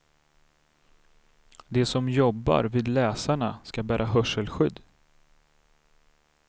De som jobbar vid läsarna ska bära hörselskydd.